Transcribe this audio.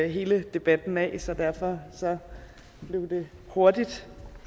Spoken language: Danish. hele debatten af så derfor blev det hurtigt